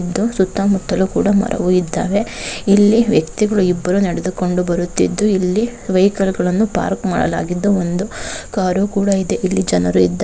ಇದ್ದು ಸುತ್ತಮುತ್ತಲೂ ಕೂಡ ಮರವು ಇದ್ದಾವೆ ಇಲ್ಲಿ ವ್ಯಕ್ತಿಗಳು ಇಬ್ಬರು ನಡೆದುಕೊಂಡು ಬರುತ್ತಿದ್ದು ಇಲ್ಲಿ ವೆಹಿಕಲ್ಗಳನ್ನೂ ಪಾರ್ಕ್ ಮಾಡಲಾಗಿದ್ದು ಒಂದು ಕಾರು ಕೂಡ ಇದೆ ಇಲ್ಲಿ ಜನರು ಇದ್ದಾ --